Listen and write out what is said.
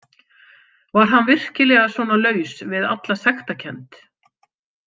Var hann virkilega svona laus við alla sektarkennd?